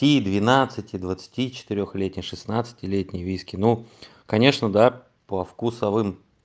ти двенадцати двадцати четырёх летний шестнадцатилетний виски ну конечно да по вкусовым